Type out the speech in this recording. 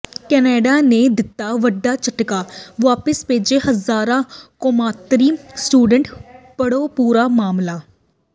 Canada ਨੇ ਦਿੱਤਾ ਵੱਡਾ ਝਟਕਾ ਵਾਪਿਸ ਭੇਜੇ ਹਜਾਰਾਂ ਕੌਮਾਂਤਰੀ ਸਟੂਡੈਂਟ ਪੜ੍ਹੋ ਪੂਰਾ ਮਾਮਲਾ